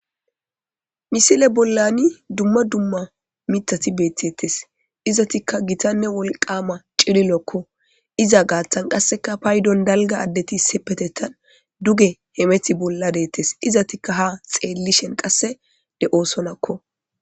misile bollani dumma dumma mithati beettettes izatikka gitanne wolqama cililokko iza gaathan qasseka paydon dalga addeti sepetettan duge hemethi bolla deettes izatikka ha xeellishen qasse de7oosonakko